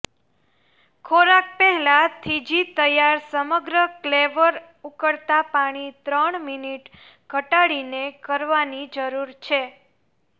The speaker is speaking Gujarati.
ખોરાક પહેલાં થીજી તૈયાર સમગ્ર ક્લેવર ઉકળતા પાણી ત્રણ મિનિટ ઘટાડીને કરવાની જરૂર છે